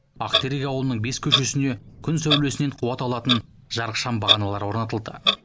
ақтерек ауылының бес көшесіне күн сәулесінен қуат алатын жарық шам бағаналары орнатылды